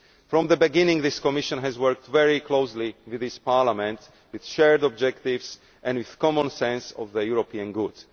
From the beginning, this Commission has worked very closely with this Parliament, its shared objectives and its common sense of the European good.